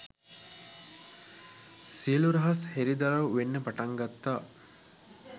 සියළු රහස් හෙළිදරව් වෙන්නට පටන් ගත්තා